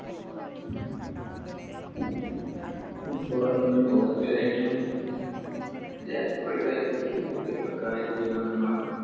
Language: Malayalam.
football എന്നത് ലോകത്തിലേറ്റവും ജനപ്രീതി കായികവിനോദമാണ്.